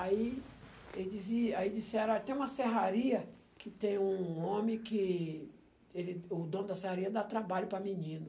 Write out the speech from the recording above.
Aí ele dizia, aí disseram, tem uma serraria que tem um homem que que ele o dono da serraria dá trabalho para menino.